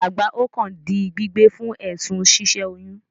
Alàgbà Okon di gbígbé fún èsùn si sẹ oyún